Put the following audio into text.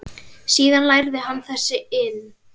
Síðan lærði hann þessa iðn.